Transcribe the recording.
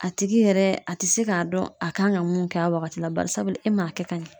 A tigi yɛrɛ, a te se ka dɔn a kan ka mun kɛ a wagati la. Barisabu e man kɛ ka ɲɛ.